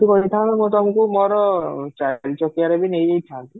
ତମେ ଯଦି କହିଥାନ୍ତ ମୁଁ ତମକୁ ମୋର ଚାରି ଚକିଆରେ ବି ନେଇ ଯାଇଥାନ୍ତି